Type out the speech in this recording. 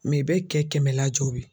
i bɛ kɛ kɛmɛ lajɔ bi